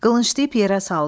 Qılıncı ip yerə saldı.